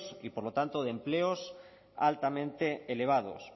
y por lo tanto de empleos altamente elevados